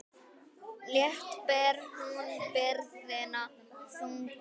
Létt ber hún byrðina þungu.